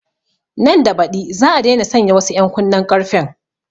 Nan da baɗi za a daina sanya wasu ƴan kunnen ƙarfen